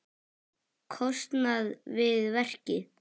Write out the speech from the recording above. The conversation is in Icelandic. kostnað við verkið.